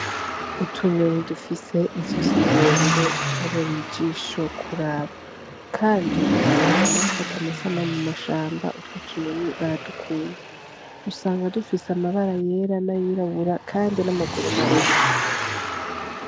Utunyoni dufise izosi rire rire turabereye ijisho kuraba kandi n' abantu bakunda gufata amasanamu mu mashamba utwo tunyoni baradukunda, usanga dufise amabara yera n' ayirabura kandi n' amaguru mare mare.